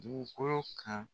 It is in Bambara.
Dugukolo kan.